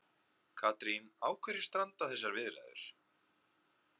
Katrín, á hverju stranda þessar viðræður?